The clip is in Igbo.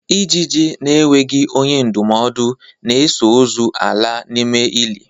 Ijiji na-enweghi onye ndụmọdụ na-eso ozu ala n'ime ili!